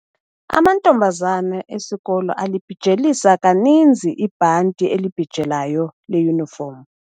Amantombazana esikolo alibhijelisa kaninzi ibhanti elibhijelayo leyunifomu.